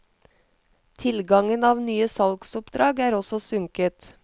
Tilgangen av nye salgsoppdrag er også sunket.